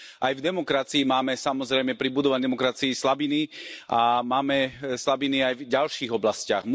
Aj v demokracii máme, samozrejme, pri budovaní demokracii slabiny a máme slabiny aj v ďalších oblastiach.